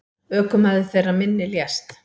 Ökumaður þeirrar minni lést.